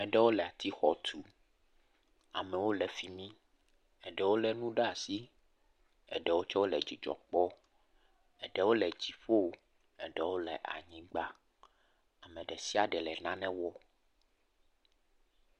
Ame aɖewo le atixɔ tum, amewo le fi mi, eɖewo lé nu ɖe asi, eɖewo tse le dzidzɔ kpɔm, eɖewo le dziƒo, eɖewo le anyigba, ame ɖe sia ɖe le nane wɔm.